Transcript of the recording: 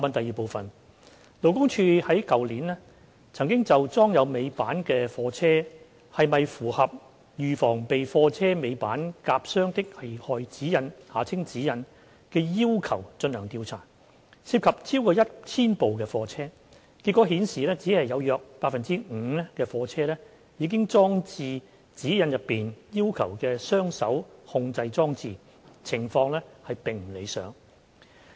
二勞工處去年曾就裝有尾板的貨車是否符合《預防被貨車尾板夾傷的危害安全指引》的要求進行調查，涉及超過 1,000 部貨車，結果顯示只有約 5% 的貨車已裝置《指引》內要求的雙手控制裝置，情況並不理想。